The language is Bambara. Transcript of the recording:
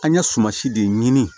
An ye suma si de ɲini